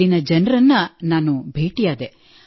ಅಲ್ಲಿನ ಜನರನ್ನು ನಾನು ಭೇಟಿಯಾದೆ